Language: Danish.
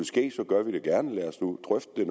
ske gør vi det gerne lad os nu drøfte